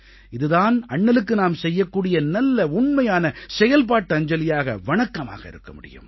இது தான் அண்ணலுக்கு நாம் செய்யக்கூடிய நல்ல உண்மையான செயல்பாட்டு அஞ்சலியாக வணக்கமாக இருக்க முடியும்